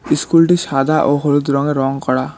ইস্কুলটি সাদা ও হলুদ রঙে রং করা।